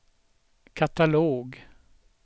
katalog